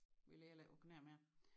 Vi ligger heller ikke å knæer mere